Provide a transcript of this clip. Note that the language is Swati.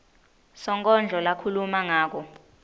sonkondlo lakhuluma ngako